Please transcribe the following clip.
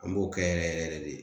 An b'o kɛ yɛrɛ yɛrɛ de